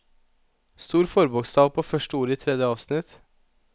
Stor forbokstav på første ord i tredje avsnitt